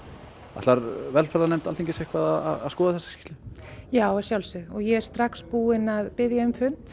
ætlar velferðarnefnd Alþingis eitthvað að skoða þessa skýrslu já að sjálfsögðu og ég er strax búin að biðja um fund